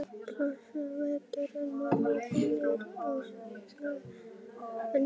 Blessaður vertu, mamma þín er ofsalega venjuleg.